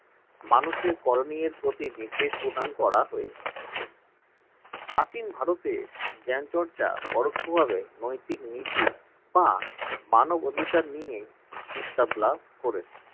মানুষের করনিয়ের প্রতি নির্দেশ প্রদান করা হয়েছে প্রাচীন ভারতের জ্ঞানচর্চা পরোক্ষভাবে নৈতিক নীতি বা মানবাধিকার নিয়ে বিস্তার লাভ করেছে।